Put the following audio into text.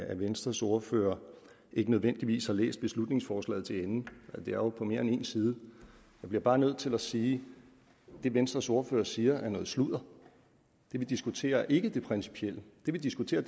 at venstres ordfører ikke nødvendigvis har læst beslutningsforslaget til ende det er jo på mere end en side jeg bliver bare nødt til at sige at det venstres ordfører siger er noget sludder det vi diskuterer er ikke det principielle det vi diskuterer